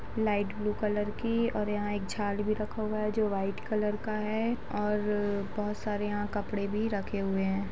Light blue colour की और यहाँ एक झाल भी रखा हुआ है जो व्हाइट कलर का है और बहुत सारे यहाँ कपड़े भी रखे हुए हैं।